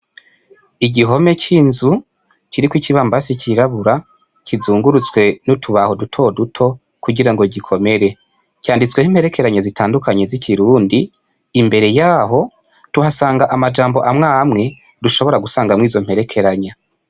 Igihome c'inzu kiriko ikibambazi cirabura, kizungurutswe n'utubaho dutoduto, kugira ngo gikomere. Canditsweko imperekeranya zitandukanye z'ikirundi. Imbere yaho, tuhasanga amajambo amwe amwe dushobora gusangamwo izo mperekeranya.